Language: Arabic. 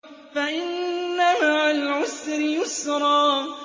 فَإِنَّ مَعَ الْعُسْرِ يُسْرًا